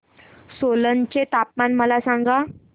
सोलन चे तापमान मला सांगा